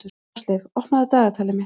Ásleif, opnaðu dagatalið mitt.